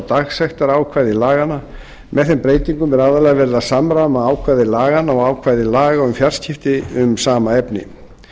dagsektarákvæði laganna með þeim breytingum er aðallega verið að samræma ákvæði laganna og ákvæði laga um fjarskipti um sama efni